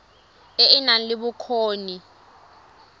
e e nang le bokgoni